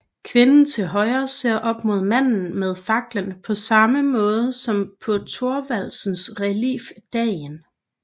Kvinden til højre ser op mod manden med fakkelen på samme måde som på Thorvaldsens relief Dagen